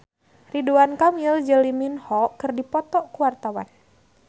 Ridwan Kamil jeung Lee Min Ho keur dipoto ku wartawan